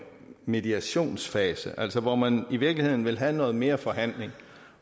mediationsfase altså hvor man i virkeligheden vil have noget mere forhandling